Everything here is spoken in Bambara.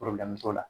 t'o la